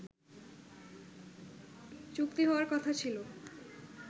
চুক্তি হওয়ার কথা ছিল